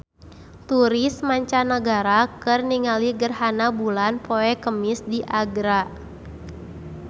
Turis mancanagara keur ningali gerhana bulan poe Kemis di Agra